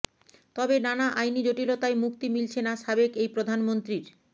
তবে নানা আইনি জটিলতায় মুক্তি মিলছে না সাবেক এই প্রধানমন্ত্রীর